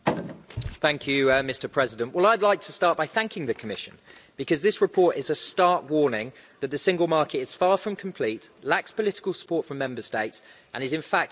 Mr President, I'd like to start by thanking the Commission because this report is a stark warning that the Single Market is far from complete, lacks political support from Member States and is, in fact, under threat.